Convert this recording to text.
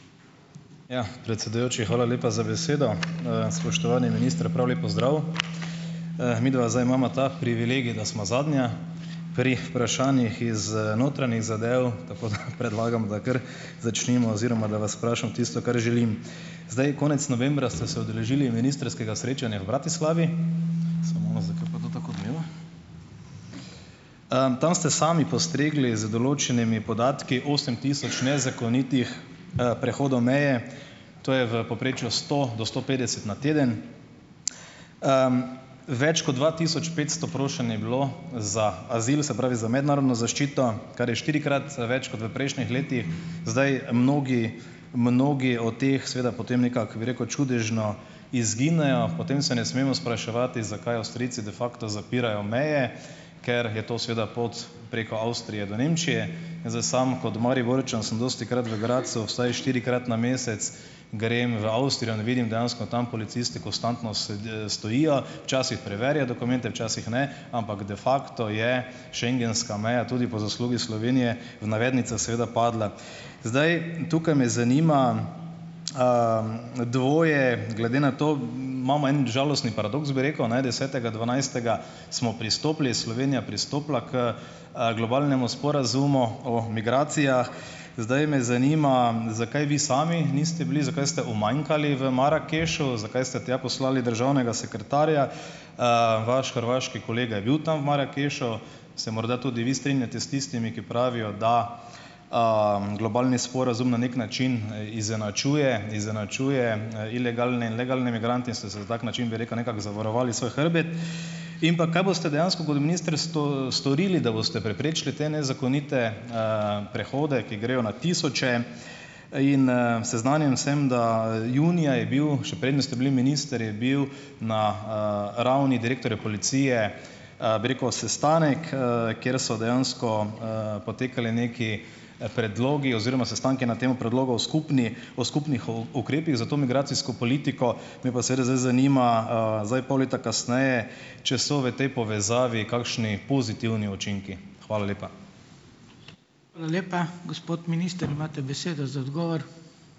Ja. Predsedujoči, hvala lepa za besedo. Spoštovani minister, prav lep pozdrav! Midva zdaj imava ta privilegij, da sva zadnja pri vprašanjih iz, notranjih zadev, tako da predlagam, da kar začnimo, oziroma da vas vprašam tisto, kar želim. Zdaj, konec novembra ste se udeležili ministrskega srečanja v Bratislavi - Simona, zakaj pa to tako odmeva - tam ste sami postregli z določenimi podatki, osem tisoč nezakonitih, prehodov meje, to je v povprečju sto do sto petdeset na teden. Več kot dva tisoč petsto prošenj je bilo za azil, se pravi, za mednarodno zaščito, kar je štirikrat več kot v prejšnjih letih. Zdaj mnogi mnogi od teh seveda potem nekako, bi rekel, čudežno izginejo, potem se ne smemo spraševati, zakaj Avstrijci "de facto" zapirajo meje, ker je to seveda pot preko Avstrije do Nemčije. Zdaj, sam kot Mariborčan sem dostikrat v Gradcu, vsaj štirikrat na mesec, grem v Avstrijo in vidim dejansko tam policisti konstanto stojijo, včasih preverijo dokumente včasih, ne, ampak "de facto" je schengenska meja tudi po zaslugi Slovenije, v navednicah seveda, padla. Zdaj, tukaj me zanima, dvoje, glede na to, imamo en žalostni paradoks bi rekel, ne, desetega dvanajstega, smo pristopili, Slovenija pristopila h, globalnemu sporazumu o migracijah. Zdaj me zanima. Zakaj vi sami niste bili, zakaj ste umanjkali v Marakešu? Zakaj ste tja poslali državnega sekretarja? Vaš hrvaški kolega je bil tam v Marakešu. Se morda tudi vi strinjate s tistimi, ki pravijo, da, globalni sporazum na neki način izenačuje izenačuje, ilegalne in legalne migrante in ste se na tak način, bi rekel, nekako zavarovali svoj hrbet? In pa, kaj boste dejansko pod ministrstvom storili, da boste preprečili te nezakonite prehodi, ki grejo na tisoče? In, seznanjen sem, da junija je bil, še preden ste bili minister, je bil na, ravni direktorja policije, bi rekel, sestanek, kjer so dejansko, potekali neki, predlogi oziroma sestanki na temu predlogu skupni, o skupnih o ukrepih za to migracijsko politiko. Me pa seveda zdaj zanima, zdaj pol leta kasneje, če so v tej povezavi kakšni pozitivni učinki. Hvala lepa.